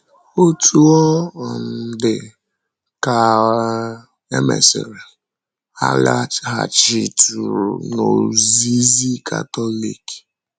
Otú ọ um dị, ka um e mesịrị, ha laghachitụrụ n’ozizi Katọlik.